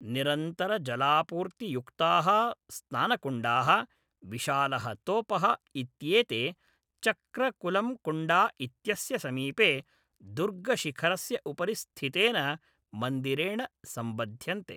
निरन्तरजलापूर्तियुक्ताः स्नानकुण्डाः, विशालः तोपः, इत्येते चक्रकुलम्कुण्डा इत्यस्य समीपे, दुर्गशिखरस्य उपरि स्थितेन मन्दिरेण सम्बध्यन्ते।